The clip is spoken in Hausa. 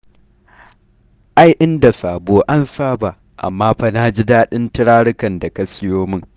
Ai in da sabo an saba, amma fa na ji daɗin turarukan da ka sayo min.